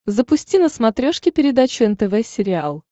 запусти на смотрешке передачу нтв сериал